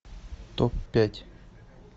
топ пять